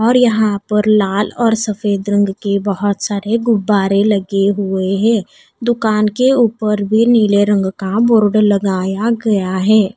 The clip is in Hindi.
और यहां पर लाल और सफेद रंग के बहुत सारे गुब्बारे लगे हुए हैं दुकान के ऊपर भी नीले रंग का बोर्ड लगाया गया है।